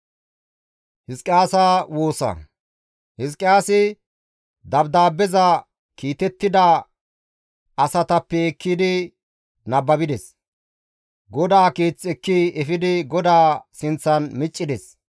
Hizqiyaasi dabdaabbeza kiitettida asatappe ekkidi nababides. GODAA Keeth ekki efidi GODAA sinththan miccides.